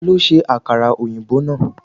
Ta ló ṣe àkàrà òyìnbó náà?.